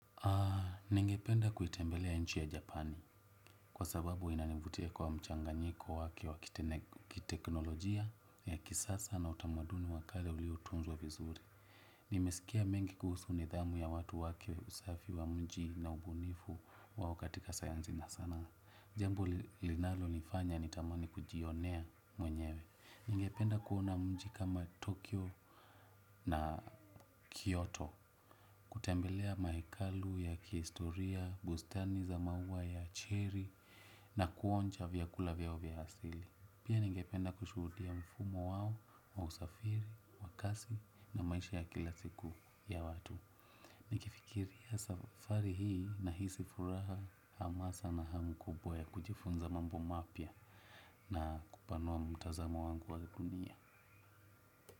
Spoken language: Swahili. Ningependa kuitembelea nchi ya japani kwa sababu inanivutia kwa mchanganyiko wake wakiteknolojia ya kisasa na utamaduni wakale uliotunzwa vizuri. Nimesikia mengi kuhusu nidhamu ya watu wake usafi wa mji na ubunifu wao katika sayanzi na sanaa. Jambo linalo nifanya ni tamani kujionea mwenyewe ningependa kuona mji kama Tokyo na Kyoto. Kutembelea maekalu ya kihistoria, bustani za maua ya achiri na kuonja vya kula vyao vya hasili. Pia ningependa kushuhudia mfumo wao wa usafiri, wa kasi na maisha ya kila siku ya watu. Nikifikiria safari hii na hisi furaha hamasa na hamu kubwa ya kujifunza mambo mapya na kupanua mtazamo wangu wali kunia.